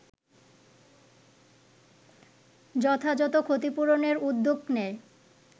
যথাযথ ক্ষতিপূরণের উদ্যোগ নেয়